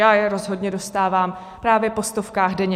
Já je rozhodně dostávám právě po stovkách denně.